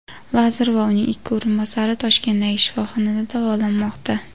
vazir va uning ikki o‘rinbosari Toshkentdagi shifoxonada davolanmoqda.